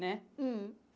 Né? Hum